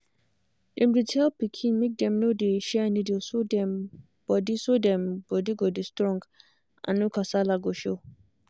dem dey tell pikin make dem no dey share needle so dem body so dem body go dey strong and no kasala go show.